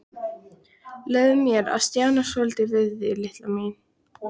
Leyfðu mér að stjana svolítið við þig, litla mín.